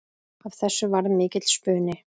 Af þessu varð mikill spuni.